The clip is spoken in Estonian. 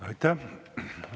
Aitäh!